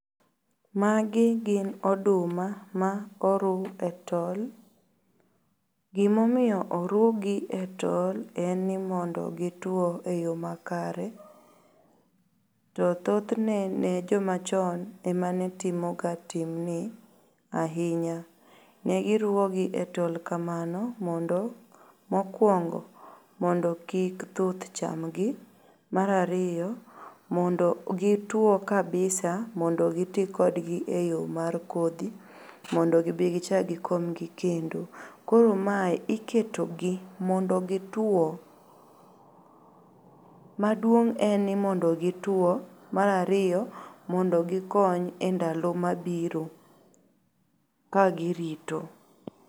Magi gin oduma ma oru e tol. Gimomiyo orugi e tol en ni mondo gituo e yoo makare to thothne ne jomachon ema ne timoga timni ainya. Negiruogi e tolkamano mondo mokuongo mondo kik thuth chamgi mar ariyo mondo gituo kabisa mondo gitii kodgie yoo mar kodhi mondo gibii kichak gikomgi kendo. Koro mae iketogi mondo gituo .Maduong' en ni mondo gituo. Mar ariyo mondo gikony e ndalo mabiro kagirito.